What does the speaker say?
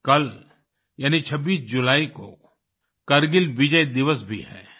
कल यानि 26 जुलाई को कारगिल विजय दिवस भी है